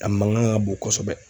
A mankan ka bon kosɛbɛ.